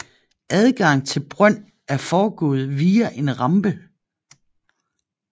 Adgang til brøn er foregået via en rampe